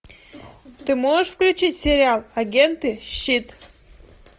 ты можешь включить сериал агенты щит